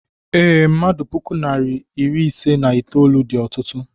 Ee, mmadụ otú puku narị anọ iri ise na itolu dị ọtụtụ